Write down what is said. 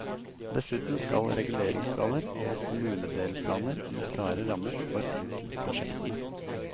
Dessuten skal reguleringsplaner og kommunedelplaner gi klare rammer for enkeltprosjektene.